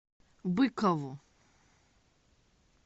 быкову